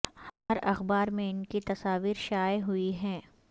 ہر اخبار میں ان کی تصاویر شائع ہوئی ہیں